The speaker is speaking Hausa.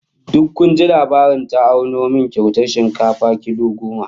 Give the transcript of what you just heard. Duk kun ji labarin ta auno min kyautar shinkafa kilo goma?